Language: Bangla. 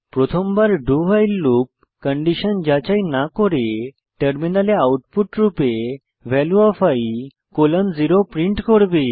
প্রথমবার do ভাইল লুপ কন্ডিশন যাচাই না করে টার্মিনালে আউটপুট রূপে value of i colon 0 print করবে